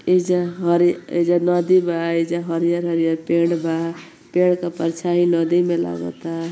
एइजा हरी एइजा नदी बा। एइजा हरियर-हरियर पेड़ बा। पैड के परछाई नदी में लागता।